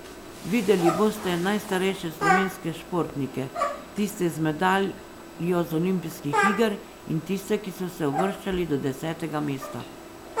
Videli boste najstarejše slovenske športnike, tiste z medaljo z olimpijskih iger in tiste, ki so se uvrščali do desetega mesta.